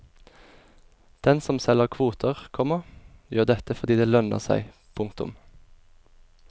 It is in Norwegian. Den som selger kvoter, komma gjør dette fordi det lønner seg. punktum